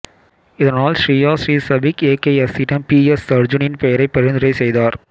இதனால் ஸ்ரீயா ஸ்ரீ சபிக் ஏகேஎஸ்ஸிடம் பி எஸ் அர்ஜூனின் பெயரை பரிந்துரை செய்தார்